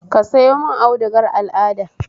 Ka sayo mun audugar al'ada